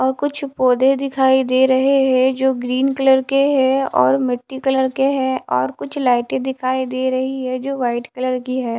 और कुछ पौधे दिखाई दे रहें हैं जो ग्रीन कलर के हैं और मिट्टी कलर के हैं और कुछ लाइटें दिखाई दे रहीं हैं जो व्हाइट कलर की है।